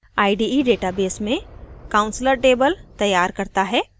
ide database में counselor table तैयार करता है